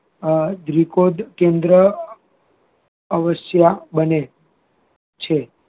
અ કેન્દ્ર અવશ્ય બને છે